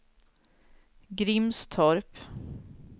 Grimstorp